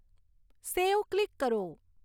સેવ click કરો